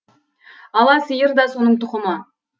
ала сиыр да соның тұқымы